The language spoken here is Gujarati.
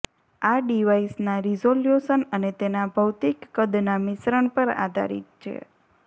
આ ડિવાઇસના રીઝોલ્યુશન અને તેના ભૌતિક કદના મિશ્રણ પર આધારિત છે